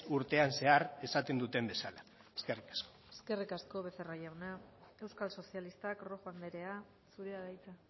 urtean zehar esaten duten bezala eskerrik asko eskerrik asko becerra jauna euskal sozialistak rojo andrea zurea da hitza